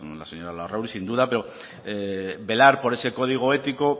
la señora larrauri sin duda pero velar por ese código ético